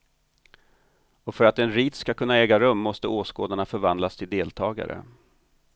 Och för att en rit skall kunna äga rum måste åskådarna förvandlas till deltagare.